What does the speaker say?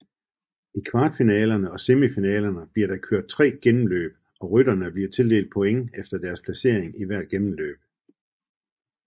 I kvartfinalerne og semifinalerne bliver der kørt tre gennemløb og rytterne bliver tildelt points efter deres placering i hvert gennemløb